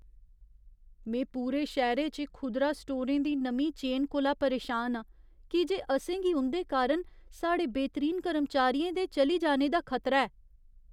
में पूरे शैह्‌रे च खुदरा स्टोरें दी नमीं चेन कोला परेशान आं, की जे असें गी उं'दे कारण साढ़े बेह्तरीन कर्मचारियें दे चली जाने दा खतरा ऐ।